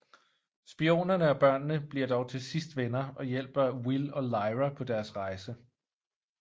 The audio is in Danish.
Spionerne og børnene bliver dog til sidst venner og hjælper Will og Lyra på deres rejse